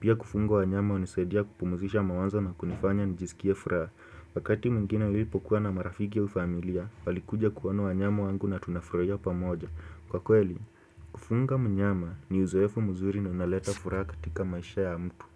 Pia kufunga wanyama hunisadia kupumzisha mawazo na kunifanya nijisikie furaha. Wakati mwingine nilipokuwa na marafiki aufamilia, walikuja kuona wanyama wangu na tunafurahia pa moja. Kwa kweli, kufunga mnyama ni uzowefu mzuri na unaleta furahaka tika maisha ya mtu.